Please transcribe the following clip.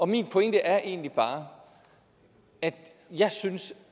min pointe er egentlig bare at jeg synes